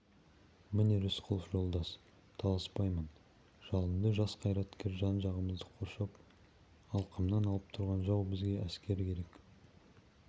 міне рысқұлов жолдас таласпаймын жалынды жас қайраткер жан-жағымызды қоршап алқымнан алып тұрған жау бізге әскер керек